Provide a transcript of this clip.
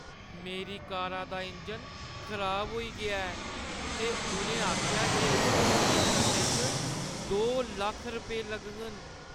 मेरी कारा दा इंजन खराब होई गेआ ऐ ते उʼनें आखेआ जे इसगी ठीक करने च दो लक्ख रपेऽ लगङन।